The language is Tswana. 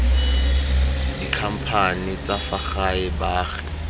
dikhamphane tsa fa gae baagi